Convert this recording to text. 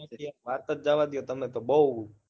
વાત જ જવા દ્યો તમે બહુ